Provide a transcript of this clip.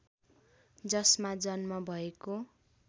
जसमा जन्म भएको